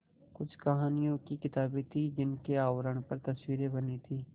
कुछ कहानियों की किताबें थीं जिनके आवरण पर तस्वीरें बनी थीं